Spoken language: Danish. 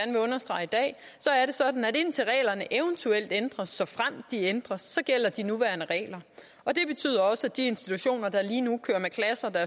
sådan at indtil reglerne eventuelt ændres såfremt de ændres så gælder de nuværende regler og det betyder også at de institutioner der lige nu kører med klasser der